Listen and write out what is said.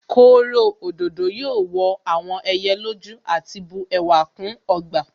Kóro òdòdó yóò wọ àwọn ẹyẹ lójú àti bu ẹwà kún ọgbà